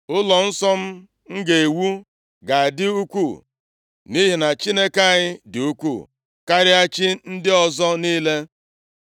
“Ụlọnsọ m ga-ewu ga-adị ukwuu nʼihi na Chineke anyị dị ukwuu karịa chi ndị ọzọ niile.